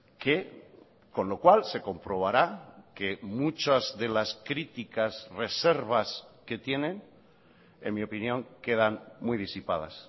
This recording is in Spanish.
que con lo cual se comprobará que muchas de las críticas reservas que tienen en mi opinión quedan muy disipadas